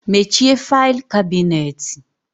Mechie faịlụ kabinet.